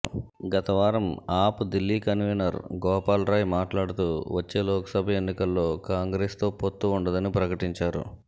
గత వారం ఆప్ దిల్లీ కన్వీనర్ గోపాల్ రాయ్ మాట్లాడుతూ వచ్చే లోక్సభ ఎన్నికల్లో కాంగ్రెస్తో పొత్తు ఉండదని ప్రకటించారు